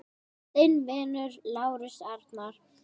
Þinn vinur, Lárus Arnar.